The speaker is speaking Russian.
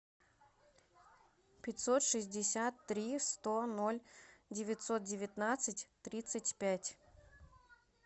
пятьсот шестьдесят три сто ноль девятьсот девятнадцать тридцать пять